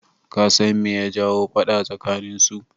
Kasan me ya jawo faɗa tsakanin su?